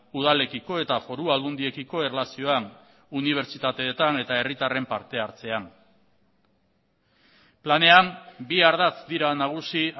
udalekiko eta foru aldundiekiko erlazioan unibertsitateetan eta herritarren parte hartzean planean bi ardatz dira nagusi